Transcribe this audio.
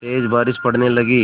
तेज़ बारिश पड़ने लगी